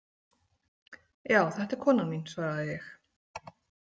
Já, þetta er konan mín, svaraði ég.